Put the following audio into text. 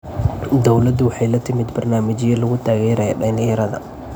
Dawladdu waxay la timid barnaamijyo lagu taageerayo dhalinyarada.